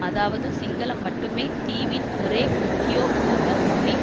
அதாவது சிங்களம் மட்டுமே தீவின் ஒரே உத்தியோபூர்வ மொழி